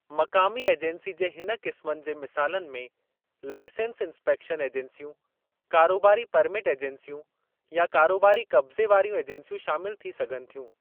मक़ामी एजंसी जे हिन क़िस्म जे मिसालनि में लाइसंस इन्सपेक्शन ऐजंसियूं, कारोबारी परमिट ऐजंसियूं, या कारोबारी क़ब्ज़े वारियूं ऐजंसियूं शामिलु थी सघनि थियूं।